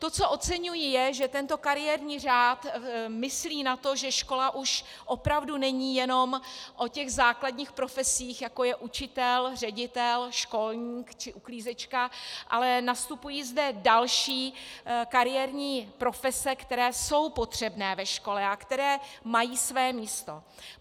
To, co oceňuji, je, že tento kariérní řád myslí na to, že škola už opravdu není jenom o těch základních profesích, jako je učitel, ředitel, školník či uklízečka, ale nastupují zde další kariérní profese, které jsou potřebné ve škole a které mají své místo.